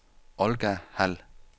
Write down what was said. Olga Hald